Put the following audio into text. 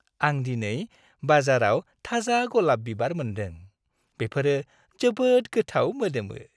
आं दिनै बाजाराव थाजा गलाब बिबार मोन्दों। बेफोरो जोबोद गोथाव मोदोमो।